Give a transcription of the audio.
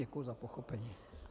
Děkuju za pochopení.